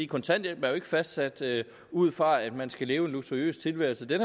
kontanthjælpen er jo ikke fastsat ud fra at man skal leve en luksuriøs tilværelse den